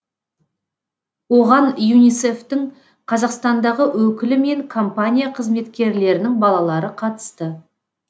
оған юнисеф тің қазақстандағы өкілі мен компания қызметкерлерінің балалары қатысты